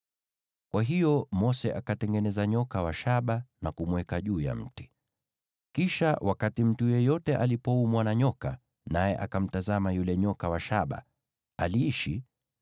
Kwa hiyo Mose akatengeneza nyoka wa shaba na kumweka juu ya mti. Kisha wakati mtu yeyote aliumwa na nyoka, naye akamtazama yule nyoka wa shaba, aliishi.